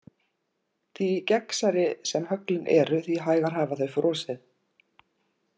Því gegnsærri sem höglin eru því hægar hafa þau frosið.